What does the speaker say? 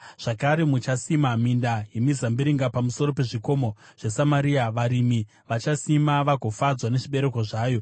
Zvakare, muchasima minda yemizambiringa pamusoro pezvikomo zveSamaria; varimi vachaisima, vagofadzwa nezvibereko zvayo.